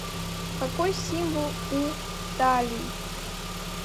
какой символ у таллий